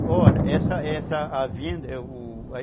Olha, essa essa a venda, u